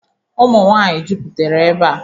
Ụmụnwaanyị jupụtere ebea.